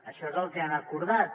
això és el que han acordat